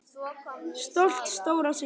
Stolt stóra systir.